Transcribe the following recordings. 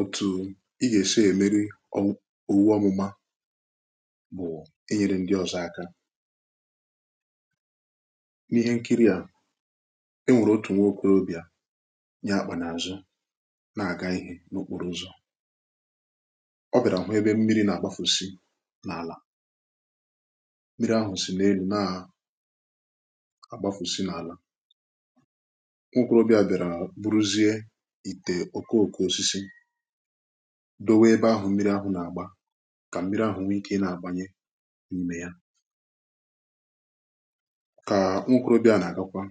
òtù ị ga-esi èmeri owu ọmụma bụ̀ enyere ndị ọ̀zọ aka n’ihe nkiri à enwèrè otù nwa okorobịà nyà àkpà n’àzụ nà àga ihe n’okporo ụzọ̀ ọ bịàrà ọ̀hụ ebe mmiri nà-àgbafùsi n’àlà mmiri ahụ̀ sì n’elu nà àgbafùsi n’àlà ìtè òkoòko osisi dowe ebe ahụ̀ mmiri ahụ̀ nà-àgba kà mmiri ahụ̀ nwee ike ịnà àgbanye n’imè ya kà nwokė obi̇ a nà-àgakwa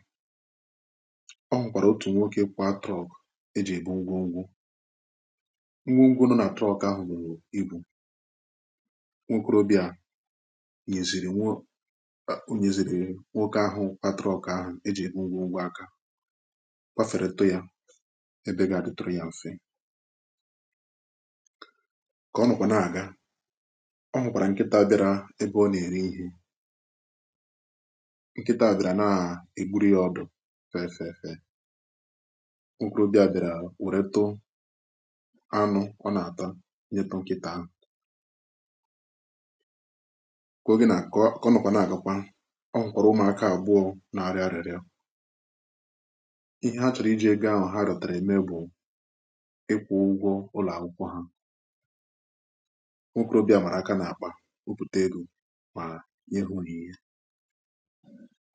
ọ hụ̀kwàrà̀ otù nwoke kwà truck e jì ebe ngwogwu ngwogwu nọ̀ nà truck ahụ̀ bùrù ibù nwokė obi̇ a nyèsìrì nwọ o nyèsìrì nwoke ahụ̀ pàtụrụ̀ ọ̀kà e jì ebe ngwogwu akȧ kà ọ nọkwà na-àga ọ hụkwàrà nkịtà bịara ebe ọ nà-ere ihe nkịtà abịrà na-agwuru ya ọdụ fẹfẹfẹ nkròbia bịara wẹtụ anụ ọ nà-ata nyeetụ nkịtà ahụ̀ kà o gina kọ ọ nọkwà na-àgakwa ọ hụkwàrụ ụmụ̀aka agbụọ̀ na-arịa arịa ihe ha chọrọ iji egȯ ahụ̀ ụlọ̀ akwụkwọ ha nkwụrụbịà màrà aka nà-àkpà wụ̀pụ̀tà elu̇ nà ihu orighì ihẹ